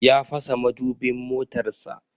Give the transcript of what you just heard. Ya fasa madubin motarsa.